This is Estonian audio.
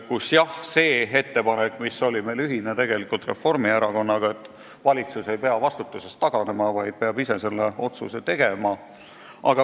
Mõtlen ettepanekut, mis meil on tegelikult Reformierakonnaga ühine, et valitsus ei pea vastutusest taganema, vaid peab ise selle otsuse tegema.